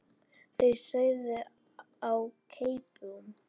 Það sauð á keipum.